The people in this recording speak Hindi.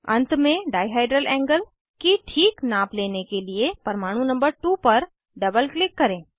अंत में डाइहेड्रल एंगल की ठीक नाप लेने के लिए परमाणु नंबर 2 पर डबल क्लिक करें